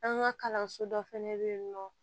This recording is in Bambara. An ka kalanso dɔ fɛnɛ bɛ yen nɔ